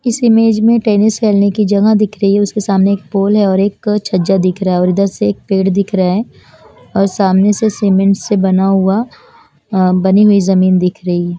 इस इमेज में टेनिस खेलने की जगह दिख रही है उसके सामने एक पोल है और एक छज्जा दिख रहा है और इधर से एक पेड़ दिख रहा है और सामने से सीमेंट से बना हुआ अ बनी हुई जमीन दिख रही --